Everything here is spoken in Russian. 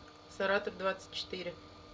саратов двадцать четыре